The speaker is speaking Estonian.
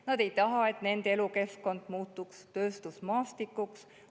Nad ei taha, et nende elukeskkond muutuks tööstusmaastikuks.